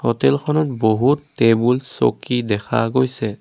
হোটেলখনত বহুত টেবুল চকী দেখা গৈছে।